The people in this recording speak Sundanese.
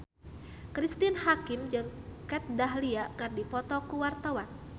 Cristine Hakim jeung Kat Dahlia keur dipoto ku wartawan